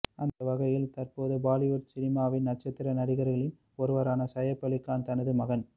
அந்தவகையில் தற்போது பாலிவுட் சினிமாவின் நட்சத்திர நடிகர்களில் ஒருவரான சையப் அலி கான் தனது மகன்